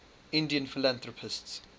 indian philanthropists